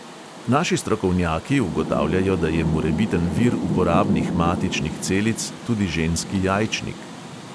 Naši strokovnjaki ugotavljajo, da je morebiten vir uporabnih matičnih celic tudi ženski jajčnik.